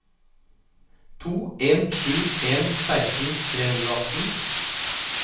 to en sju en seksten tre hundre og atten